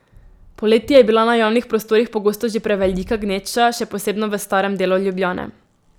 Poleti je bila na javnih prostorih pogosto že prevelika gneča, še posebno v starem delu Ljubljane.